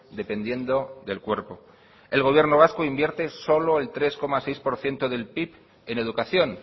dependiendo del cuerpo el gobierno vasco invierte solo el tres coma seis por ciento del pib en educación